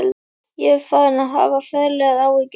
Ég var farinn að hafa ferlegar áhyggjur.